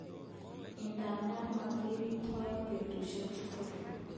Idadan mokirirtoen betushek tugul.